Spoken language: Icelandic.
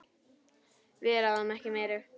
Við ráðum ekki meiru.